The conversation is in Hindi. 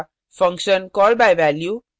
function call by value